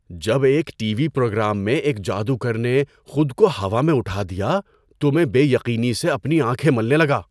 جب ایک T V programme میں ایک جادوگر نے خود کو ہوا میں اٹھا دیا تو میں بے یقینی سے اپنی آنکھیں ملنے لگا۔